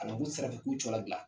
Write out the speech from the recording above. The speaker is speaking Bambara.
n'u sera ka k'u cɔ labila.